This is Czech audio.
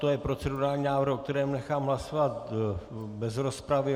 To je procedurální návrh, o kterém nechám hlasovat bez rozpravy.